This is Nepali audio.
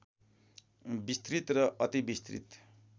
विस्तृत र अति विस्तृत